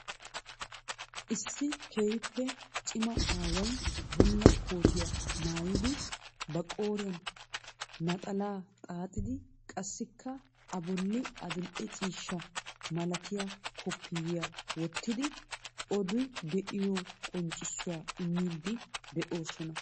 Issi keehiippe cimma aaway bulla koottiya maayidi, ba qooriyaan naxalaa xaaxxidi, qassikka a bolli adil''e ciishsha malatiyaa koppiyiyaa wottidi odi be'aayoo qonccissuwaa immiidi de'oosonna.